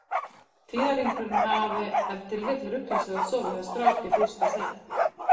Tíðahringurinn hafi ef til vill ruglast við að sofa hjá strák í fyrsta sinn.